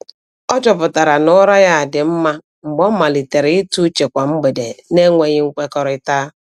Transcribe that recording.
Ọ chọpụtara na ụra ya dị mma mgbe ọ malitere ịtụ uche kwa mgbede n’enweghị nkwekọrịta.